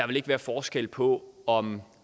vil være forskel på om